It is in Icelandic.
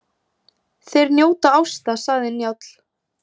Þeir njóta ásta, sagði Njáll.